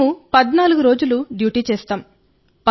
మేము 14 రోజుల డ్యూటీ చేస్తాం